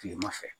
Kilema fɛ